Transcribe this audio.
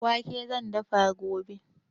Doya da wake zan dafa gobe.